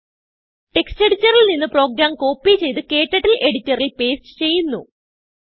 textഎഡിറ്ററിൽ നിന്ന് program copy ചെയ്ത് ക്ടർട്ടിൽ എഡിറ്ററിൽ പേസ്റ്റ് ചെയ്യുന്നു